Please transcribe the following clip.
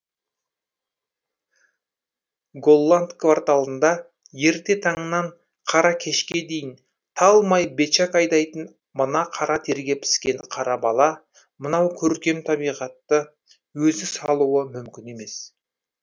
голланд кварталында ерте таңнан қара кешке дейін талмай бечак айдайтын мына қара терге піскен қара бала мынау көркем табиғатты өзі салуы мүмкін емес